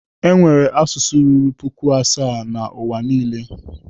Enwere asụsụ ruru puku asaa na N'uwa niile.